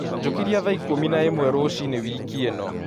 Njũkĩrĩa thaa ikũmi naĩmwe rũciini wĩkĩ ino